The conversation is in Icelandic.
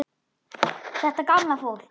Þetta gamla fólk.